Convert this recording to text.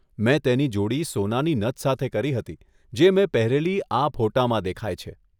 મેં તેની જોડી સોનાની નથ સાથે કરી હતી, જે મેં પહેરેલી આ ફોટામાં દેખાય છે.